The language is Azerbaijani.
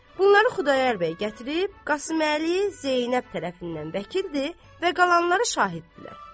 Bunları Xudayar bəy gətirib, Qasıməli Zeynəb tərəfindən vəkildir və qalanları şahiddirlər.